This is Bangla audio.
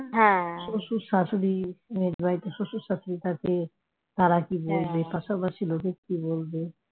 শশুর শাশুড়ি মেয়ের বাড়িতে জানে শ্বশুর-শাশুড়ি থাকে তারা কি বলবে পাশাপাশি লোকেরা কি বলবে